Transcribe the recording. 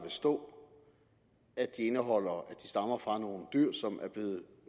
stå at de stammer fra nogle dyr som er blevet